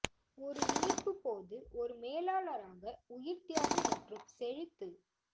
ஒரு இணைப்பு போது ஒரு மேலாளராக உயிர் தியாகம் மற்றும் செழித்து